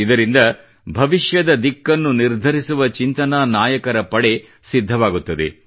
ಇದರಿಂದ ಭವಿಷ್ಯದ ದಿಕ್ಕನ್ನು ನಿರ್ಧರಿಸುವ ಚಿಂತನಾ ನಾಯಕರ ಪಡೆ ಸಿದ್ಧವಾಗುತ್ತದೆ